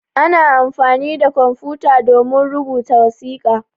Ana amfani da kwamfuta domin rubuta wasiƙa.